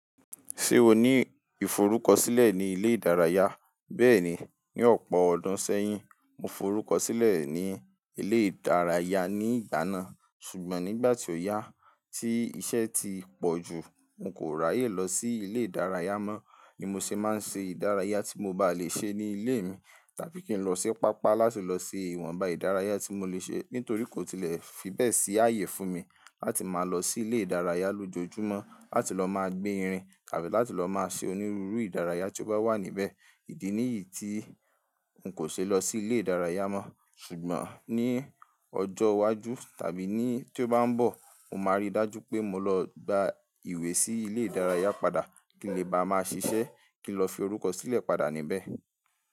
Ṣé o ní ìforúkọsílẹ̀ ní ilé ìdárayá? Bẹ́ẹ̀ni, ní ọ̀pọ̀ ọdún sẹ́yìn mo forúkọsílẹ̀ ní ilé ìdárayá ní ìgbànáà. Ṣùgbọ́n nígbà tí ó yá tí iṣẹ́ ti pọ̀ jù, n kò ráyè lọ sí ilé ìdárayá mọ́. Ni mo ṣe máa ń ṣe ìdárayá tí mo bá lè ṣe ní ilé mi, tàbí kí n lọ sí pápá láti lọ ṣe ìwọ̀nba ìdárayá tí mo lè ṣe. Nítorí kò tilẹ̀ fi bẹ́ẹ̀ sí ààyè fún mi láti máa lọ sí ilé ìdárayá lójoojúmọ́ láti lọ máa gbé irin tàbí láti lọ máa ṣe onírúurú ìdárayá tí ó bá wà níbẹ̀. Ìdí nìyí tí n kò ṣe lọ sí ilé ìdárayá mọ́. Ṣùgbọ́n ní ọjọ́ iwájú tàbí ní tí ó bá ń bọ̀, mo máa rí dájú pé mo lọ gba ìwé sí ilé ìdárayá padà kí n lè bá máa ṣiṣẹ́ kí n lọ fi orúkọ sílẹ̀ padà níbẹ̀.